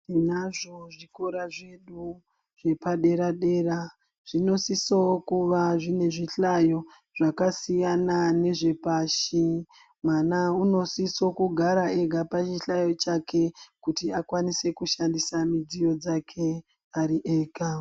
Tinazvo zvikora zvedu zvepadere-dera zvinosoo kuva zvine zvihlayo zvakasiyana nezvepashi. Mwana unosiso kugara ega pachihlayo chake kuti akwanise kushandisa midziyo dzake ari ega.